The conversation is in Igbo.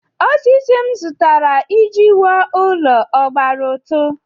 Osisi m zụtara iji wuo ụlọ ọ gbara ụtụ?